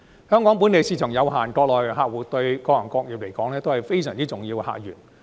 香港本地市場有限，國內客戶對各行各業來說也是非常重要的客源。